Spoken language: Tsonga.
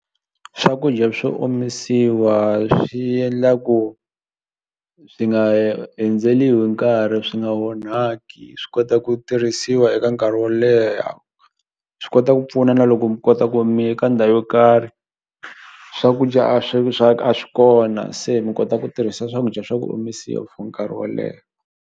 Swakudya swo omisiwa swi endla ku swi nga hi nkarhi swi nga onhaki swi kota ku tirhisiwa eka nkarhi wo leha swi kota ku pfuna na loko mi kota ku miye ka ndhawu yo karhi swakudya a swi a swi kona se mi kota ku tirhisa swakudya swa ku omisiwa for nkarhi wo leha.